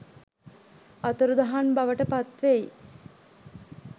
අතුරුදහන් බවට පත්වෙයි.